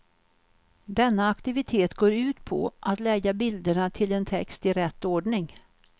Denna aktivitet går ut på att lägga bilderna till en text i rätt ordning.